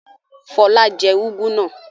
Fọlá jẹ úgú náà?